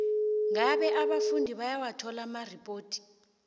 ngabe abafundi bayawathola amaripoti